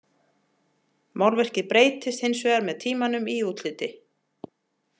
Málverkið breytist hins vegar með tímanum í útliti.